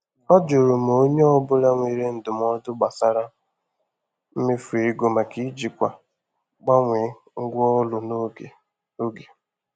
Ọ jụrụ ma onye ọ bụla nwere ndụmọdụ gbasara mmefu ego maka ijikwa mgbanwe ngwa ụlọ n’oge oge.